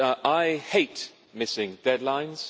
I hate missing deadlines.